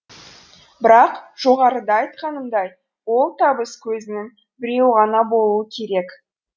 бірақ жоғарыда айтқанымдай ол табыс көзінің біреуі ғана болуы керек